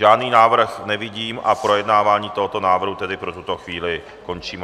Žádný návrh nevidím a projednávání tohoto návrhu tedy pro tuto chvíli končím.